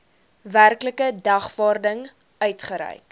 werklike dagvaarding uitgereik